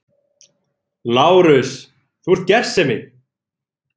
LÁRUS: Þú ert gersemi!